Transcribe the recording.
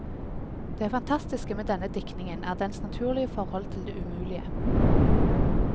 Det fantastiske med denne diktningen er dens naturlige forhold til det umulige.